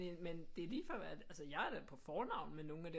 Man det er lige før at altså jeg er da på fornavn med nogle af dem